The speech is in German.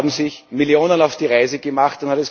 Da haben sich Millionen auf die Reise gemacht.